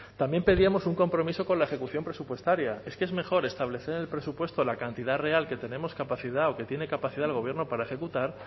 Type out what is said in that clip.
también pedíamos un compromiso con la ejecución presupuestaria es que es mejor establecer en el presupuesto la cantidad real que tenemos capacidad o que tiene capacidad el gobierno para ejecutar